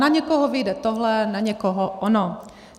Na někoho vyjde tohle, na někoho ono.